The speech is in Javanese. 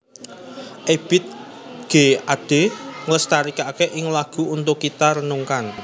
Ebiet G Ade nglestarèkaké ing lagu Untuk Kita Renungkan